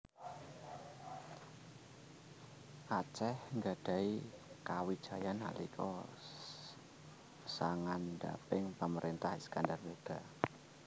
Aceh gadhahi kawijayan nalika sangandhaping pamarentah Iskandar Muda